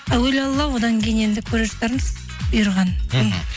әуелі алла одан кейін енді көре жатармыз бұйырғанын мхм